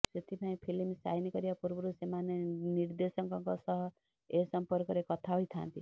ସେଥିପାଇଁ film sign କରିବା ପୂର୍ବରୁ ସେମାନେ ନିର୍ଦ୍ଦେଶକଙ୍କ ସହ ଏ ସମ୍ପର୍କରେ କଥା ହୋଇଥାନ୍ତି